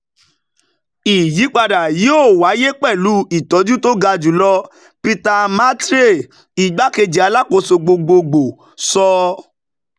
ìyípadà yìí yóò wáyé pẹ̀lú ìtọ́jú tó ga jùlọ "peter matiare igbakeji alakoso gbogbogbo sọ.